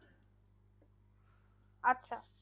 আচ্ছা